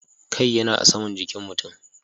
Kai yana a saman jikin mutum.